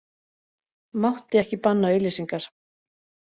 Mátti ekki banna auglýsingar